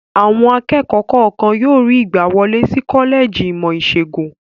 Àwọn akẹ́kọ̀ọ́ kọ̀ọ̀kan yóò rí ìgbàwọlé sí kọ́lẹ́jì ìmọ̀-ìṣègùn.